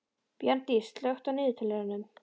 Bjarndís, slökktu á niðurteljaranum.